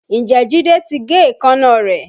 Ǹjẹ́ Jide ti gé èékánná rẹ̀?